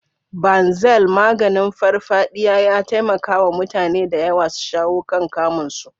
Banzel, maganin farfadiya, ya taimaka wa mutane da yawa su shawo kan kamun su.